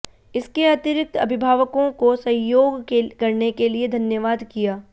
इसके अतिरिक्त अभिभावकों को सहयोग करने के लिए धन्यवाद किया